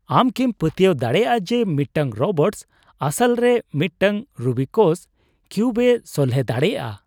ᱟᱢ ᱠᱤᱢ ᱯᱟᱹᱛᱭᱟᱹᱣ ᱫᱟᱲᱮᱭᱟᱜᱼᱟ ᱡᱮ ᱢᱤᱫᱴᱟᱝ ᱨᱳᱵᱚᱴᱥ ᱟᱥᱚᱞᱨᱮ ᱢᱤᱫᱴᱟᱝ ᱨᱩᱵᱤᱠᱚᱥ ᱠᱤᱣᱩᱵᱽ ᱮ ᱥᱚᱞᱦᱮ ᱫᱟᱲᱮᱭᱟᱜᱼᱟ ?